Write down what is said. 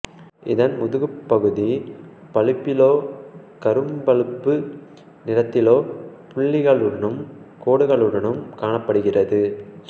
இதன் முதுகுப்பகுதி பழுப்பிலோ கரும்பழுப்பு நிறத்திலோ புள்ளிகளுடனும் கோடுகளுடனும் காணப்படுகிறது